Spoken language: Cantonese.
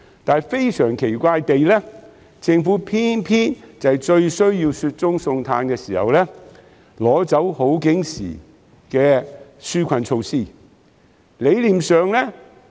但是，非常奇怪，政府偏偏在最需要雪中送炭時，取消了好景時的紓困措施。